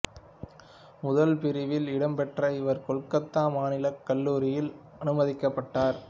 முதல் பிரிவில் இடம் பெற்ற இவர் கொல்கத்தா மாநிலக் கல்லூரியில் அனுமதிக்கப்பட்டார்